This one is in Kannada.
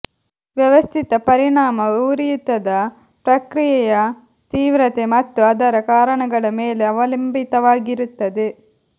ವ್ಯವಸ್ಥಿತ ಪರಿಣಾಮ ಉರಿಯೂತದ ಪ್ರಕ್ರಿಯೆಯ ತೀವ್ರತೆ ಮತ್ತು ಅದರ ಕಾರಣಗಳ ಮೇಲೆ ಅವಲಂಬಿತವಾಗಿರುತ್ತದೆ